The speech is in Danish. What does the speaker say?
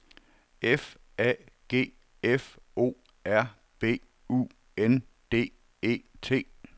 F A G F O R B U N D E T